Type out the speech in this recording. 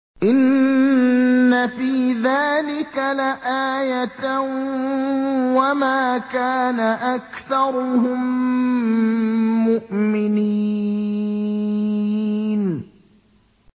إِنَّ فِي ذَٰلِكَ لَآيَةً ۖ وَمَا كَانَ أَكْثَرُهُم مُّؤْمِنِينَ